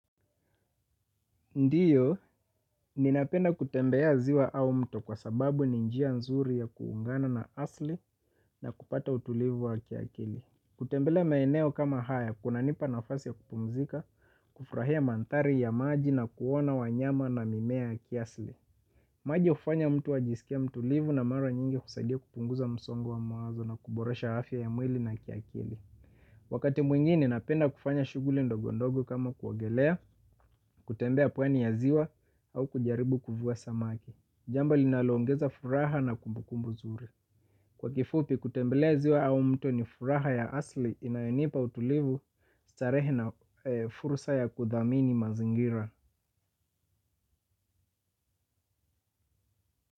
Ndiyo, ninapenda kutembea ziwa au mto kwa sababu ni njia nzuri ya kuungana na asli na kupata utulivu wa kiakili. Kutembelea maeneo kama haya, kuna nipa nafasi ya kupumzika, kufrahia mandhari ya maji na kuona wanyama na mimea kiasli. Maji ufanya mtu ajisikia mtulivu na mara nyingi kusadia kupunguza msongo wa mawazo na kuboresha afia ya mwili na kiakili. Wakati mwingine napenda kufanya shuguli ndogo ndogo kama kuogelea, kutembea pwani ya ziwa au kujaribu kuvua samaki. Jambo linaloongeza furaha na kumbukumbu zuri. Kwa kifupi kutembelea ziwa au mto ni furaha ya asli inayenipa utulivu starehe na furusa ya kuthamini mazingira.